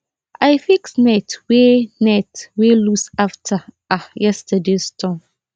i fix net wey net wey loose after um yesterdays storm